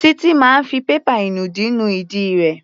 Títí máa fi pépà ìnùdí nu ìdí rẹ̀.